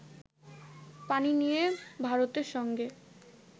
পানি নিয়ে ভারতের সঙ্গে